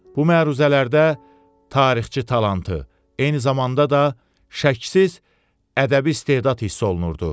Bu məruzələrdə tarixçi talantı, eyni zamanda da şəksiz ədəbi istedad hiss olunurdu.